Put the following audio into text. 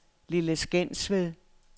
Lille Skensved